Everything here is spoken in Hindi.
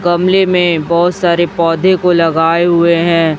गमले में बहोत सारे पौधे को लगाए हुए हैं।